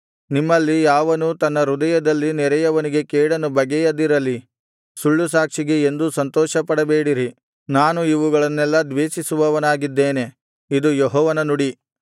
ನಿಮ್ಮಲ್ಲಿ ಯಾವನೂ ತನ್ನ ಹೃದಯದಲ್ಲಿ ನೆರೆಯವನಿಗೆ ಕೇಡನ್ನು ಬಗೆಯದಿರಲಿ ಸುಳ್ಳು ಸಾಕ್ಷಿಗೆ ಎಂದೂ ಸಂತೋಷಪಡಬೇಡಿರಿ ನಾನು ಇವುಗಳನ್ನೆಲ್ಲಾ ದ್ವೇಷಿಸುವವನಾಗಿದ್ದೇನೆ ಇದು ಯೆಹೋವನ ನುಡಿ